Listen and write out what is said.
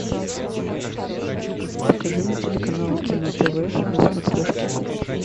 покажи мне телеканал кино тв на смотрешке